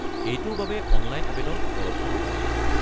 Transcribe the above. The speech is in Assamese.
এইটোৰ বাবে অনলাইন আৱেদন উপলব্ধ নহয়।